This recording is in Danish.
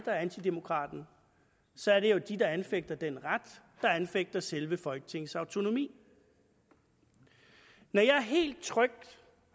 er antidemokraten så er det jo dem der anfægter den ret der anfægter selve folketingets autonomi når jeg helt trygt